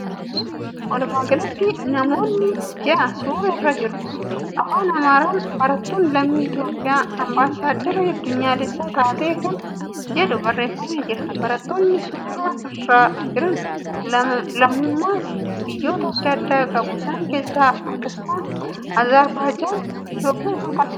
Walumaagalatti namoonni ja'a suura irra jiru. Afaan Amaaraan ' Barattuun lammii Itiyoophiyaa Ambaassaaddara addunyaalessaa taate' kan jedhu barreeffamee jira. Barattoonni suura irra jiran lammummas biyyoota adda addaa qabu isaan keessaa Paakistaan, Azerbaajaan, Itiyoophiyaa fi kkf fa'adha.